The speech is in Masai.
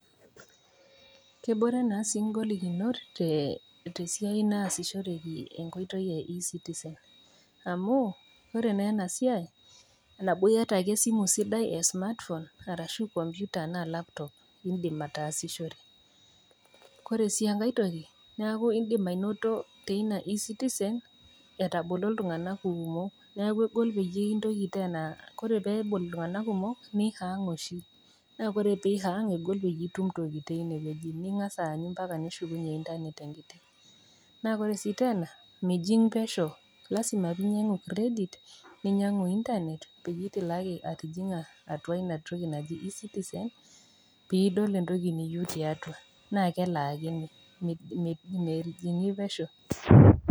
Kebore naa sii ngolikinot tesiai naasishoreki enkoitoi e e citizen amu ore naa enasiai nabo iyata ake esimu sidai e smartphone arashu computer arashu laptop iindim ataashishore ,oree si enkae toki neaku indip ainoto teina e citizen neaku egol tenebol ltunganak kumok nihang ,na ore peihang naa ingasa aanyu ometushukunye internet, na kore sii tena mining pesho lasima akepeelotu internet peetumoki ating isimui ,peidol entoki niyeu na mejingi pesho.